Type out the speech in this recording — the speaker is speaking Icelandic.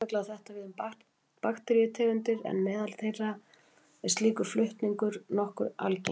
Sérstaklega á þetta við um bakteríutegundir en meðal þeirra er slíkur flutningur nokkuð algengur.